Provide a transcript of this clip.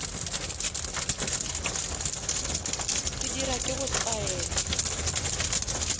se dira ke go taela